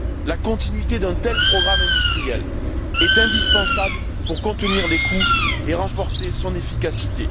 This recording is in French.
La continuité d'un tel programme industriel est indispensable pour contenir les coûts et renforcer son efficacité.